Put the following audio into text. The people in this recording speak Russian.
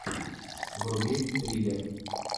вруби триллер